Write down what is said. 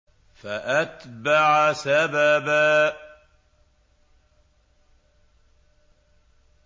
فَأَتْبَعَ سَبَبًا